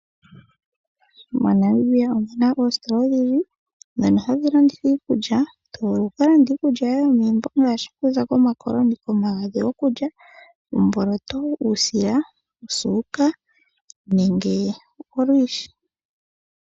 MoNamibia omuna oositola odhindji ndhono hadhi landithwa iikulya. Tovulu okulanda iikulya yoye yomegumbo ngaashi okuza komakoloni ,komagadhi gokulya, omboloto, uusila, osuuka nenge olwiishi.